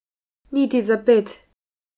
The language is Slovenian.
Niti za ped.